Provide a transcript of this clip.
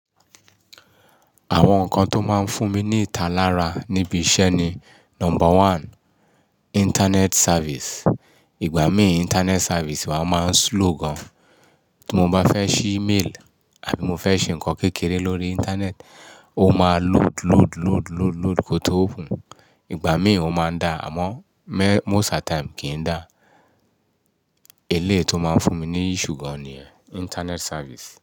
Àwọn nǹkan tó máa ń fún mi ní ìta lára níbi iṣẹ́ ni number one internet service. Ìgbà mí internet service wa máa ń slow gan. Tí mo bá fẹ́ ṣí email àbí mo fẹ́ ṣe nǹkan kékeré lórí internet, ó máa load, load, load, load, load kó tó open. Ìgbà mí òún máa ń dá àmọ́ most at times kì í dà. Eléyìí tó máa ń fún mi ní issue gan ni internet service.